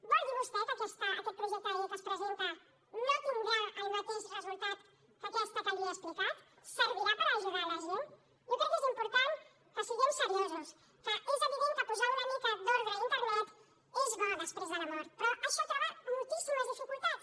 vol dir vostè que aquest projecte de llei que es presenta no tindrà el mateix resultat que aquesta que li he explicat servirà per ajudar la gent jo crec que és important que siguem seriosos que és evident que posar una mica d’ordre a internet és bo després de la mort però això troba moltíssimes dificultats